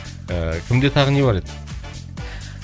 ііі кімде тағы не бар еді